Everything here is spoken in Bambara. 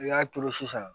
I y'a turu sisan